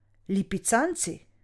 Lipicanci.